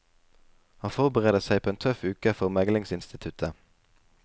Han forbereder seg på en tøff uke for meglingsinstituttet.